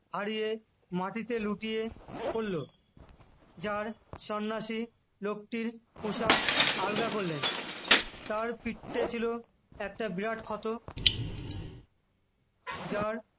আর ইয়ে মাটিতে লুটিয়ে পড়লো জার সন্ন্যাসী লোকটির পোশাক আলগা করলেন তার পিঠে ছিল একটা বিরাট ক্ষত যার